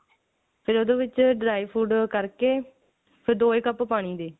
ਫੇਰ ਉਹਦੇ ਵਿੱਚ dry fruit ਕਰਕੇ ਤੇ ਦੋਹੇ ਕੱਪ ਪਾਣੀ ਦੇ